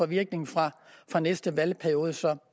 virkning fra fra næste valgperiode så